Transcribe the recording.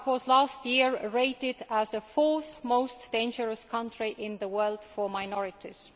Last year Iraq was rated as the fourth most dangerous country in the world for minorities.